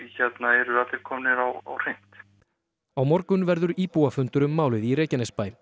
eru allir komnir á hreint á morgun verður íbúafundur um málið í Reykjanesbæ